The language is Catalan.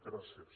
gràcies